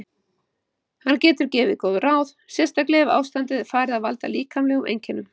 Hann getur gefið góð ráð, sérstaklega ef ástandið er farið að valda líkamlegum einkennum.